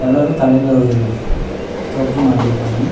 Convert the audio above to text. எல்லாரு தலைல ஒரு தொப்பி மாட்டிருக்காங்க.